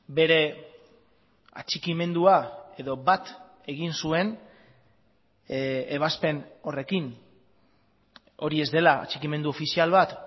bere atxikimendua edo bat egin zuen ebazpen horrekin hori ez dela atxikimendu ofizial bat